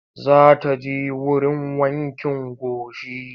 Za ta je wurin wankin gashi.